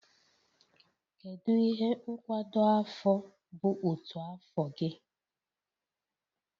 Kedu ihe nkwado afọ bụ otu afọ gị?